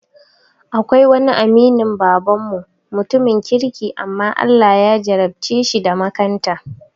Akwai wani aminin baban mu, mutumin kirki amma Allah ya jarabceshi da makanta